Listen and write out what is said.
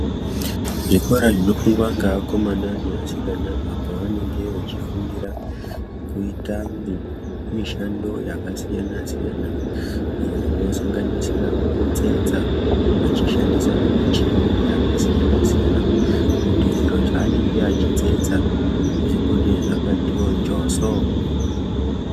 Zvikora zvinofundwa ngeakomana neasikana apo vanenge vechifundira kuita mi mishando yakasiyana- siyana iyo inosanganisira kutsetsa veishandisa michini yakasiyana -siyana kuti zviro zvaanenge achitsetsa zvibude zvakatiwo njoso.